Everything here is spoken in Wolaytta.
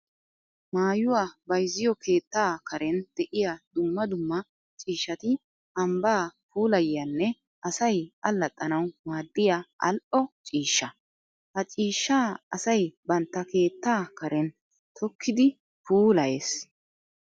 Maayuwa bayzziyo keetta karen de'iya dumma dumma ciishshatti ambba puulayiyyanne asay alaxxanawu maadiya ali'o ciishsha. Ha ciishsha asay bantta keetta karen tokkiddi puulayyes.